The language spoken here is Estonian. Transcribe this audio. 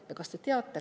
Ja kas teate?